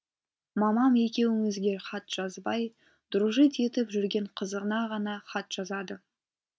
мамам екеуімізге хат жазбай дружить етіп жүрген қызына ғана хат жазады